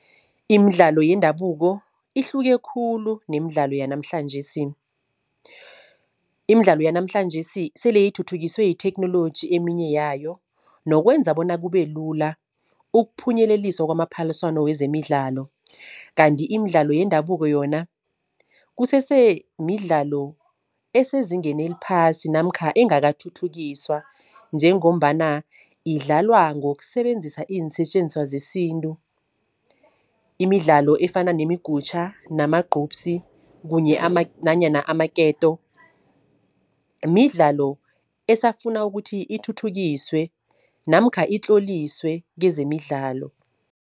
Imidlalo yendabuko ihluke khulu nemidlalo yanamhlanjesi. Imidlalo yanamhlanjesi sele ithuthukiswe yitheknoloji eminye yayo nokwenza bona kube lula ukuphunyeleliswa kwamaphaliswano wezemidlalo. Kanti imidlalo yendabuko yona kusese midlalo esezingeni eliphasi namkha engakathuthukiswa, njengombana idlalwa ngokusebenzisa iinsetjenziswa zesintu. Imidlalo efana nemigutjha namagcubsi kunye nanyana amaketo, midlalo esafuna ukuthi ithuthukiswe namkha itloliswe kezemidlalo.